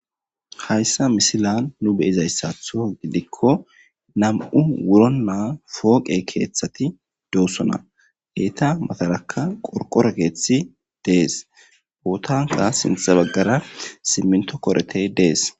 Hayssa misilan nu beyizayssatho gidikko nam'u wuro naa fooqe keeththati doossona eeta matarakka qorqorekeethi dees bootanka sintha baggara simminto koretey dees.